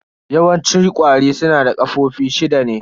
Yawanci ƙwari su na da ƙafofi shida ne.